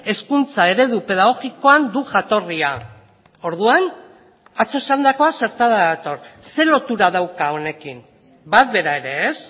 hezkuntza eredu pedagogikoan du jatorria orduan atzo esandakoa zertara dator zer lotura dauka honekin bat bera ere ez